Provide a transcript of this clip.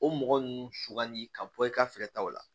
O mɔgɔ ninnu sugandi ka bɔ i ka fɛɛrɛ ta o la